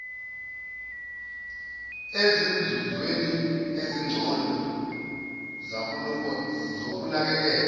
ezinzuzweni ezingcono zokunakekelwa